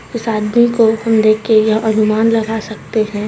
उस आदमी को हम देख के यह अनुमान लगा सकते है।